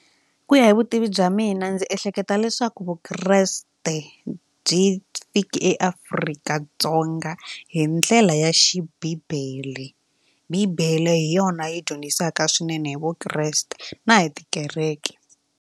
Ku ya hi vutivi bya mina ndzi ehleketa leswaku vukreste byi fiki eAfrika-Dzonga hi ndlela ya xibibele bibele hi yona yi dyondzisaka swinene hi vukreste na hi tikereke.